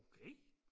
okay